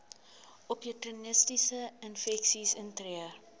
opportunistiese infeksies intree